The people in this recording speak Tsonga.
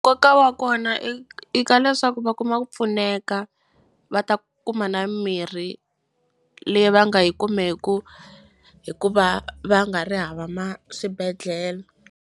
Nkoka wa kona i ka leswaku va kuma ku pfuneka va ta kuma na mirhi leyi va nga yi kumeku hikuva va nga ri hava swibedhlele.